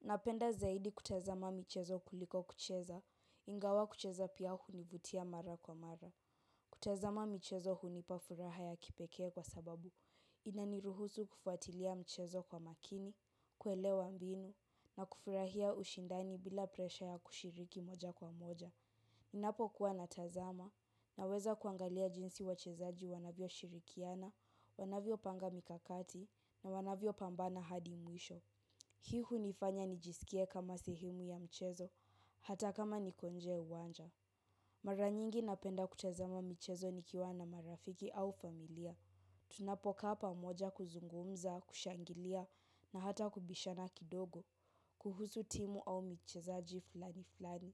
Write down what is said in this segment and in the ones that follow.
Napenda zaidi kutazama michezo kuliko kucheza, ingawa kucheza pia hunivutia mara kwa mara. Kutazama michezo hunipa furaha ya kipekee kwa sababu, inaniruhusu kufuatilia mchezo kwa makini, kuelewa mbinu, na kufurahia ushindani bila presha ya kushiriki moja kwa moja. Ninapokuwa natazama, naweza kuangalia jinsi wachezaji wanavyo shirikiana, wanavyopanga mikakati, na wanavyo pambana hadi mwisho. Hii hunifanya nijisikie kama sehemu ya mchezo, hata kama niko nje ya uwanja. Mara nyingi napenda kutazama michezo nikiwa na marafiki au familia. Tunapokaa pamoja kuzungumza, kushangilia na hata kubishana kidogo, kuhusu timu au mchezaji fulani fulani.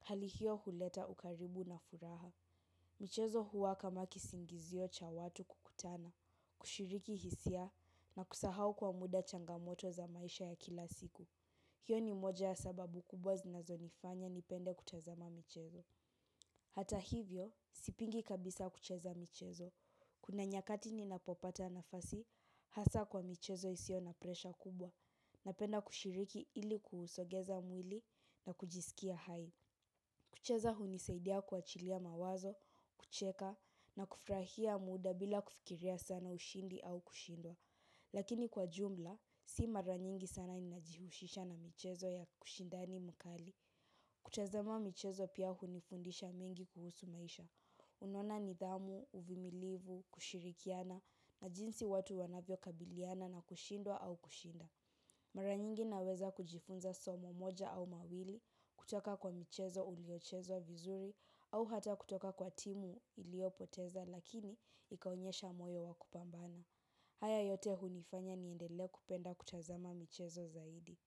Hali hio huleta ukaribu na furaha. Mchezo huwa kama kisingizio cha watu kukutana, kushiriki hisia na kusahau kwa muda changamoto za maisha ya kila siku. Hiyo ni moja ya sababu kubwa zinazonifanya nipende kutazama michezo. Hata hivyo sipingi kabisa kucheza michezo. Kuna nyakati ninapopata nafasi, hasa kwa michezo isio na presha kubwa. Napenda kushiriki ili kuusogeza mwili na kujisikia hai. Kucheza hunisaidia kuachilia mawazo, kucheka na kufurahia muda bila kufikiria sana ushindi au kushindwa. Lakini kwa jumla, si mara nyingi sana ninajihusisha na michezo ya ushindani mkali. Kutazama michezo pia hunifundisha mengi kuhusu maisha. Unaona nidhamu, uvumilivu, kushirikiana, na jinsi watu wanavyo kabiliana na kushindwa au kushinda. Mara nyingi naweza kujifunza somo moja au mawili, kutoka kwa michezo uliochezwa vizuri, au hata kutoka kwa timu ilio poteza lakini ikaonyesha moyo wa kupambana. Haya yote hunifanya niendelee kupenda kutazama michezo zaidi.